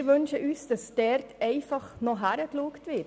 Wir wünschen uns einfach, dass dort noch hingeschaut wird.